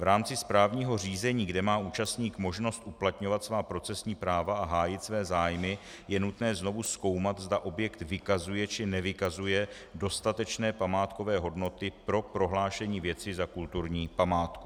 V rámci správního řízení, kde má účastník možnost uplatňovat svá procesní práva a hájit své zájmy, je nutno znovu zkoumat, zda objekt vykazuje, či nevykazuje dostatečné památkové hodnoty pro prohlášení věci za kulturní památku.